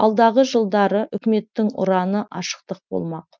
алдағы жылдары үкіметтің ұраны ашықтық болмақ